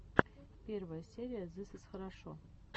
первая серия зыс из хорошо